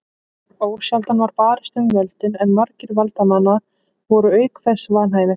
Ósjaldan var barist um völdin en margir valdamanna voru auk þess vanhæfir.